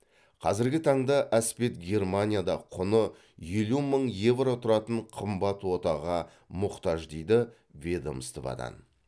қазіргі таңда әспет германияда құны елу мың евро тұратын қымбат отаға мұқтаж дейді ведомстводан